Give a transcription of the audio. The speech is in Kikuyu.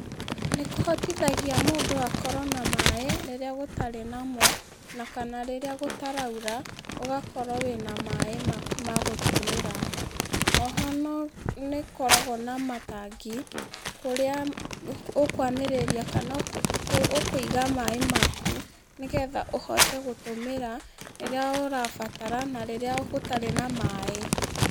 Nĩkũhotithagia mũndũ gũkorwo na maĩ okorwo gũtarĩ namo, na kana rĩrĩa gũtaraura, ũgakorwo wĩna maĩ maku ma gũtũmĩra, oho no, nĩũkoragwo na matangi, kũrĩa ũkwanĩrĩria kana kũ ũkũiga maĩ maku, nĩgetha ũhote gũtũmĩra, rĩrĩa ũrabatara na rĩrĩa gũtarĩ na maĩ.